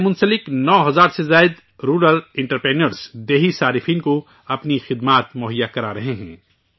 اس سے جڑے 9000 سے زیادہ رورل انٹرپریونیورز دیہی صارفین کو اپنی خدمات مہیا کرا رہے ہیں